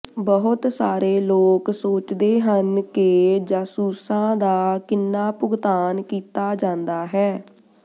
ਬਹੁਤ ਸਾਰੇ ਲੋਕ ਸੋਚਦੇ ਹਨ ਕਿ ਜਾਸੂਸਾਂ ਦਾ ਕਿੰਨਾ ਭੁਗਤਾਨ ਕੀਤਾ ਜਾਂਦਾ ਹੈ